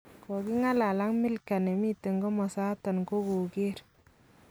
"Kakingalal ak Milcah nemiten komosaton kogoker.